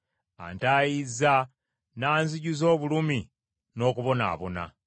Antaayizza n’anzijuza obulumi n’okubonaabona.